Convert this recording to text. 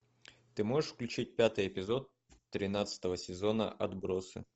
ты можешь включить пятый эпизод тринадцатого сезона отбросы